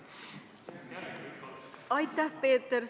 Aitäh, Peeter!